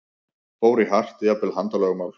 Fór í hart, jafnvel handalögmál?